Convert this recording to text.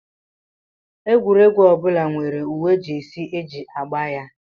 Egwuregwu ọ bụla nwere uwe Jesi e ji agba ya